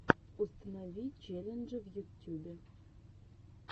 установи челленджи в ютюбе